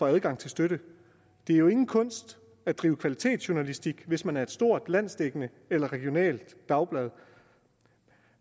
adgang til støtte det er jo ingen kunst at drive kvalitetsjournalistik hvis man er et stort landsdækkende eller regionalt dagblad